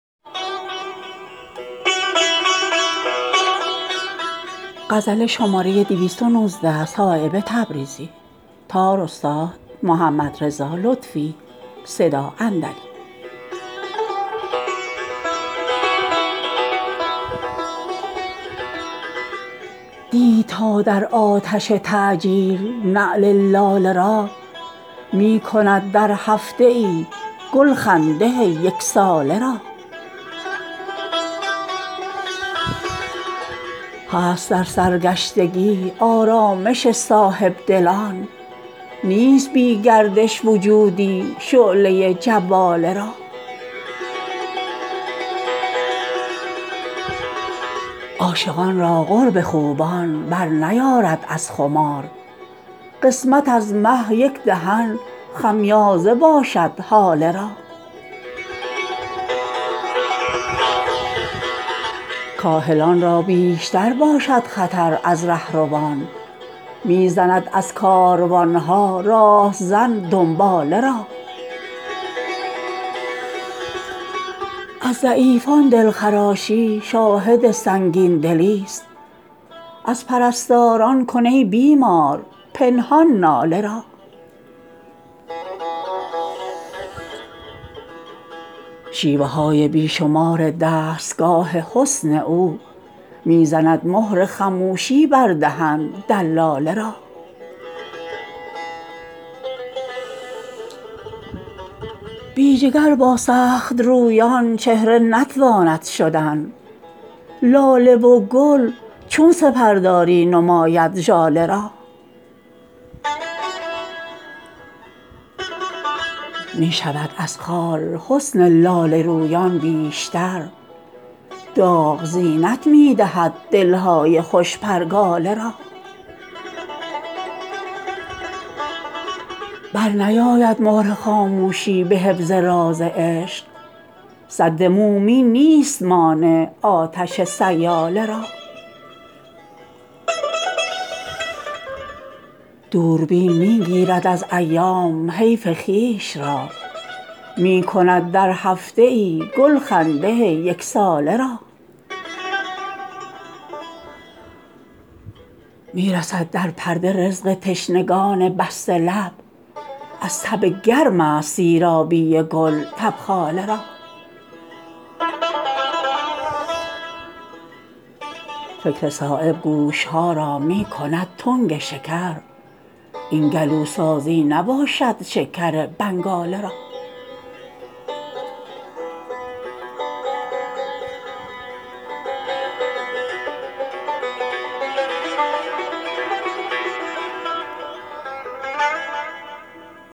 دید تا در آتش تعجیل نعل لاله را می کند در هفته ای گل خنده یکساله را هست در سرگشتگی آرامش صاحبدلان نیست بی گردش وجودی شعله جواله را عاشقان را قرب خوبان برنیارد از خمار قسمت از مه یک دهن خمیازه باشد هاله را کاهلان را بیشتر باشد خطر از رهروان می زند از کاروان ها راهزن دنباله را از ضعیفان دلخراشی شاهد سنگین دلی است از پرستاران کن ای بیمار پنهان ناله را شیوه های بی شمار دستگاه حسن او می زند مهر خموشی بر دهن دلاله را بی جگر با سخت رویان چهره نتواند شدن لاله و گل چون سپرداری نماید ژاله را می شود از خال حسن لاله رویان بیشتر داغ زینت می دهد دلهای خوش پرگاله را برنیاید مهر خاموشی به حفظ راز عشق سد مومین نیست مانع آتش سیاله را دوربین می گیرد از ایام حیف خویش را می کند در هفته ای گل خنده یکساله را می رسد در پرده رزق تشنگان بسته لب از تب گرم است سیرابی گل تبخاله را فکر صایب گوش ها را می کند تنگ شکر این گلوسوزی نباشد شکر بنگاله را